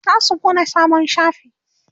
zasu buɗe sabon shafi